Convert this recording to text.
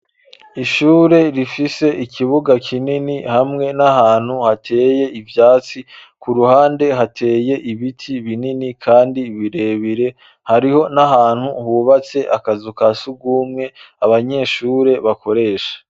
Ishure rifise ikibuga kinini hamwe n'ahantu hateye ivyatsi ku ruhande hateye ibiti binini kandi birebire hariho n'ahantu hubatse akazu kasugumwe abanyeshure bakoresha.